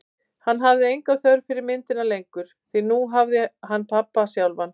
Hann hafði enga þörf fyrir myndina lengur, því nú hafði hann pabba sjálfan.